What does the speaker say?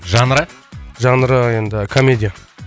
жанры жанры енді комедия